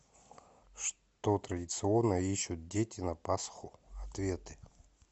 что традиционно ищут дети на пасху ответы